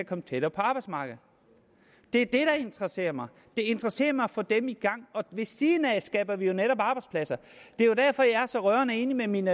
komme tættere på arbejdsmarkedet det er det der interesserer mig det interesserer mig at få dem i gang og ved siden af skaber vi jo netop arbejdspladser det er derfor jeg er så rørende enig med min